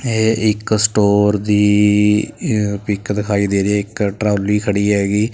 ਇਹ ਇੱਕ ਸਟੋਰ ਦੀ ਪਿੱਕ ਦਿਖਾਈ ਦੇ ਰਹੀ ਹੈ। ਇੱਕ ਟਰਾਲੀ ਖੜੀ ਹੈਗੀ।